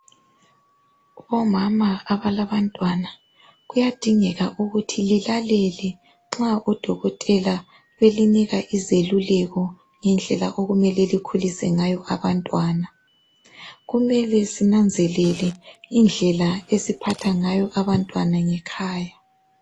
Bomama abalabantwana kuyadingeka ukuthi lilalela nxa odokotela belinika izeluleko ngendela okumele linakelela abantwana kumele sinanzelele indlela esiphatha ngayo abantwana ngekhaya